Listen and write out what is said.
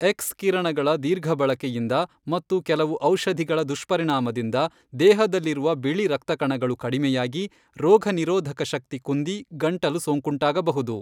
X ಕಿರಣಗಳ ದೀರ್ಘಬಳಕೆಯಿಂದ ಮತ್ತು ಕೆಲವು ಔಷಧಿಗಳ ದುಷ್ಪರಿಣಾಮದಿಂದ ದೇಹದಲ್ಲಿರುವ ಬಿಳಿರಕ್ತಕಣಗಳು ಕಡಿಮೆಯಾಗಿ ರೋಗನಿರೋಧಕಶಕ್ತಿ ಕುಂದಿ ಗಂಟಲು ಸೋಂಕುಟಾಗಬಹುದು.